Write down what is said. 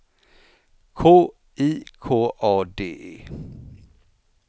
K I K A D E